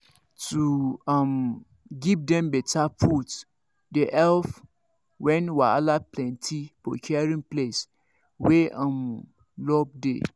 to um give dem better food dey help when wahala plenty for caring place wey um love dey